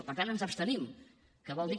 per tant ens abstenim que vol dir